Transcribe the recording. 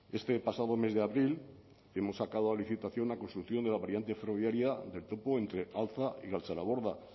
este pasado mes de abril hemos sacado a licitación la construcción de la variante ferroviaria del topo entre altza y galtzaraborda